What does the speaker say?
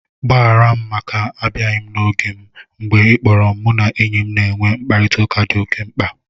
Gbaghara m maka abịaghị n' oge m. Mgbe ị kpọrọ m, mụ na enyi m na-enwe mkparịtaụka dị oke mkpa